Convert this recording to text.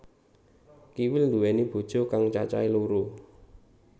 Kiwil nduwéni bojo kang cacahé loro